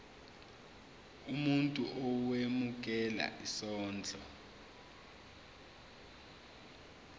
umuntu owemukela isondlo